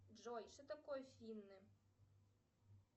джой что такое финны